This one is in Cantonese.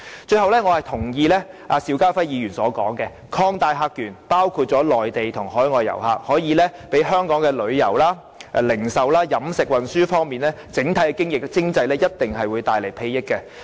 最後，我認同邵家輝議員的說法，擴大客源，包括內地和海外遊客，一定可以為香港的旅遊、零售、飲食和運輸業，以及整體的經濟帶來裨益。